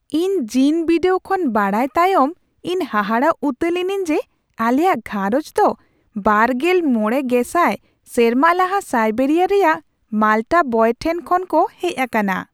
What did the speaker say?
ᱤᱧ ᱡᱤᱱ ᱵᱤᱰᱟᱹᱣ ᱠᱷᱚᱱ ᱵᱟᱲᱟᱭ ᱛᱟᱭᱚᱢ ᱤᱧ ᱦᱟᱦᱟᱲᱟᱜ ᱩᱛᱟᱹᱨ ᱞᱤᱱᱟᱹᱧ ᱡᱮ ᱟᱞᱮᱭᱟᱜ ᱜᱷᱟᱸᱨᱚᱧᱡᱽ ᱫᱚ ᱒᱕᱐᱐᱐ ᱥᱮᱨᱢᱟ ᱞᱟᱦᱟ ᱥᱟᱭᱵᱮᱨᱤᱭᱟᱨ ᱨᱮᱭᱟᱜ ᱢᱟᱞᱴᱟ ᱵᱚᱭ ᱴᱷᱮᱱ ᱠᱷᱚᱱ ᱠᱚ ᱦᱮᱡ ᱟᱠᱟᱱᱟ ᱾